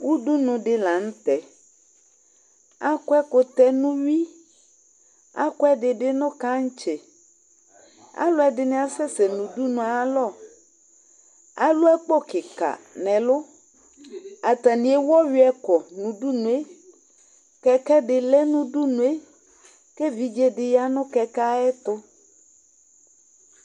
Udunu di la nu tɛ Akɔ ɛkutɛ nu uyui akɔ ɛdibi nu kɛtsi Alu ɛdini asɛsɛ nu udunu yɛ ayu alɔ alu akpo kika nu ɛlu atani ewu ɔyui kɔ nu udunu yɛ Kɛkɛ di lɛ nu udunu yɛ ku evidze di ya nu kɛkɛ ayu ɛtu